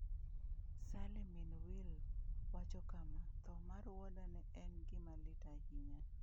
Sally, min Will wacho kama: “Tho mar wuoda ne en gima lit ahinya.”